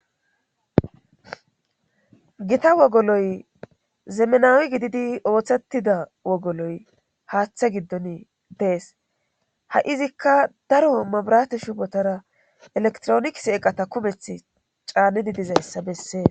Gita wogoloy zemenawi gididi ooththettida wogoloy haaththe giddon dees ha'iizikka daro mabirate shubotara elektroonikis eqata kumeth caanidi dizayssa bessee